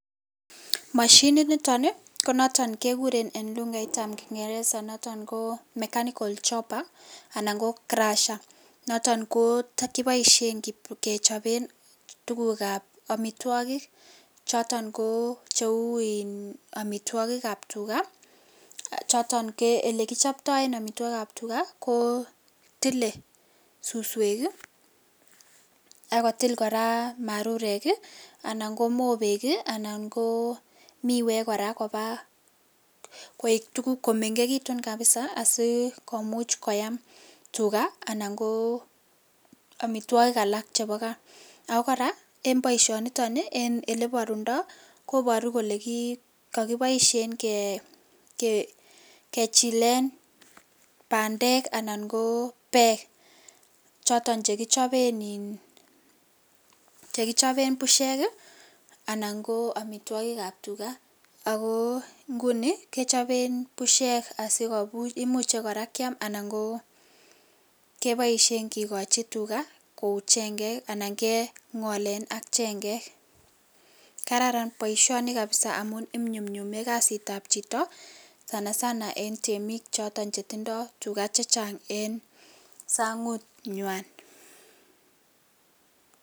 Moshininiton konoton kekuren en lukaitab kingereza noto koo mechanical chopper anan koo crusher noton koboishen kechoben tugukab omitwokik choton koo cheu iin omitwokikab tugak ii choton ko elekichopto en omitwokikab tugaa kotile suswek ii ak kotil koraa marurek ii ,anan koo mobek ii ,anan ko miwek koraa koik tuguk komengekitun kabisa komuch koyaam tugaa anan koo omitwogik alak chebo kaa , ako koraa en boisioniton en eleborundo koboru kole kokiboishen kechilen bandek anan kobek choton chekichoben ii choton chekichoben bushek, anan koo omitwokikab tugaa ako ingunii kechoben bushek asikomuch koraa kiam keboishen kikochi tugaa kou chengek anan kingolen ak chengek kararan boisioni kabisa amun inyumnyume kasitab chito sana sana en temik choton chetindo tugaa chechang en sangunywan.